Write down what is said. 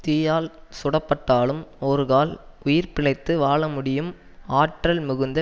தீயால் சுடப்பட்டாலும் ஒருகால் உயிர் பிழைத்து வாழ முடியும் ஆற்றல் மிகுந்த